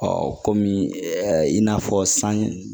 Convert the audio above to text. kɔmi i n'a fɔ san